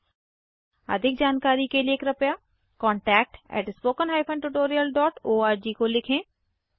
• अधिक जानकारी के लिए कृपया contactspoken tutorialorg को लिखें